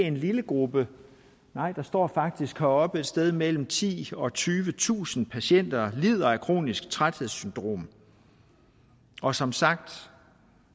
en lille gruppe nej der står faktisk heroppe at et sted mellem titusind og tyvetusind patienter lider af kronisk træthedssyndrom og som sagt